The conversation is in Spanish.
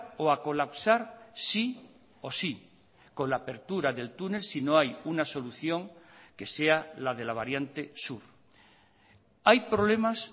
o a colapsar sí o sí con la apertura del túnel si no hay una solución que sea la de la variante sur hay problemas